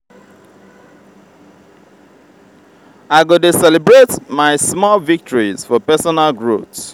i go dey celebrate my small victories for personal growth.